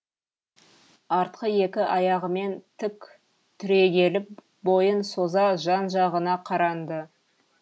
артқы екі аяғымен тік түрегеліп бойын соза жан жағына қаранды